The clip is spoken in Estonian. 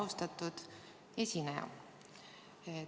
Austatud esineja!